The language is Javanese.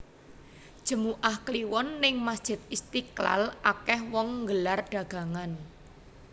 Jemuah kliwon ning Masjid Istiqlal akeh wong nggelar dagangan